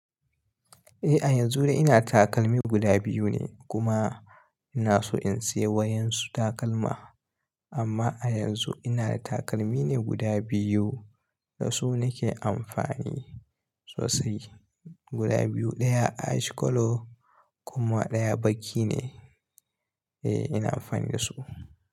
Eh a yanzu dai ina takalmi guda biyu ne kuma ina so in sayi wa yansun takalma. Amma a yanzu ina da takalmi ne guda biyu da su nake amfani sosai. Guda biyu, ɗaya ash color kuma ɗaya baki ne. Eh ina fani da su.